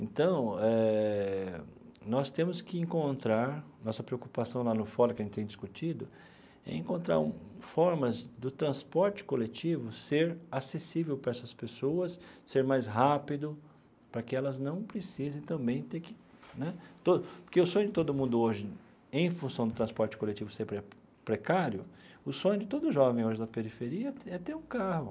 Então eh, nós temos que encontrar, nossa preocupação lá no fórum, que a gente tem discutido, é encontrar formas do transporte coletivo ser acessível para essas pessoas, ser mais rápido, para que elas não precisem também ter que né... Porque o sonho de todo mundo hoje, em função do transporte coletivo ser pre precário, o sonho de todo jovem hoje da periferia é ter é ter um carro.